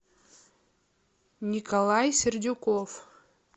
николай сердюков